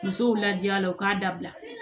Musow lajalaw k'abila